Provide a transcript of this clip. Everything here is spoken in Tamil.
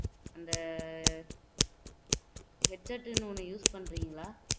அந்த headset னு ஒண்ணு use பண்றீங்களா